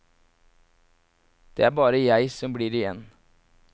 Det er bare jeg som blir igjen.